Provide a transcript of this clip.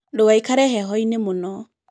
Ndũgaikare hehoinĩ mũno.